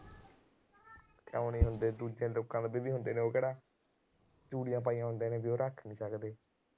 ਕਿਉਂ ਨੀ ਹੁੰਦੇ, ਦੂਜੇ ਲੋਕਾਂ ਕੋਲ ਵੀ ਹੁੰਦੇ ਨੇ। ਉਹ ਕਿਹੜਾ ਚੂੜੀਆਂ ਪਾਈਆਂ ਹੁੰਦੇ ਨੇ, ਉਹ ਰੱਖ ਨੀ ਸਕਦੇ।